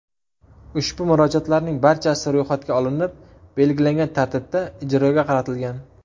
Ushbu murojaatlarning barchasi ro‘yxatga olinib, belgilangan tartibda ijroga qaratilgan.